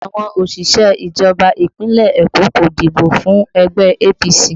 Àwọn òṣìṣẹ́ ìjọba Ìpínlẹ̀ Eko kò dìbò fún ẹgbẹ́ APC